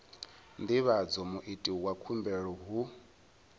divhadza muiti wa khumbelo hu